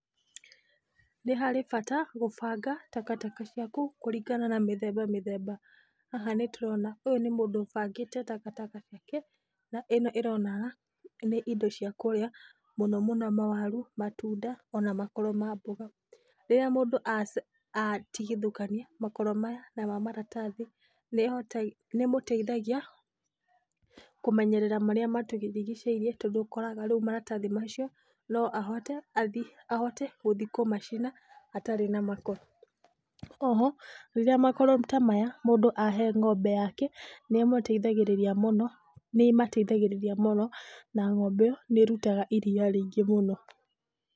Nĩ harĩ bata gũbanga, takataka ciaku, kũringana na mĩthemba mĩthemba. Haha nĩ tũrona, ũyũ nĩ mũndũ ũbangĩte takataka ciake, na ĩno ĩronania nĩ indo cia kũrĩa, mawaru, matunda ona makoro ma mboga. Rĩrĩa mũndũ atigithũkania makoro maya na ma maratathi nĩ ĩmũteithagia kũmenyerera marĩa matũrigicĩirie, tondũ ũkoraga, rĩu maratathi macio no ahote gũthiĩ kũmacina hatarĩ na makoro. O ho rĩrĩa makoro ta maya mũndũ ahe ng'ombe yake nĩ ĩmateithagĩrĩria mũno na ng'ombe ĩyo nĩ ĩrutaga iria rĩingĩ mũno.